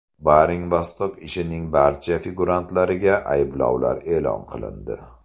Baring Vostok ishining barcha figurantlariga ayblovlar e’lon qilindi.